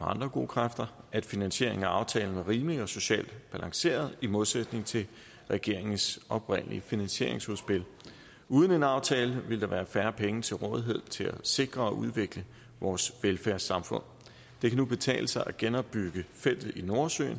andre gode kræfter at finansieringen af aftalen er rimelig og socialt balanceret i modsætning til regeringens oprindelige finansieringsudspil uden en aftale ville der være færre penge til rådighed til at sikre og udvikle vores velfærdssamfund det kan nu betale sig at genopbygge feltet i nordsøen